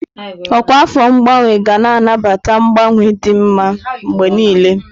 Ọkwa afọ ngbanwe ga na-anabata mgbanwe dị mma mgbe niile.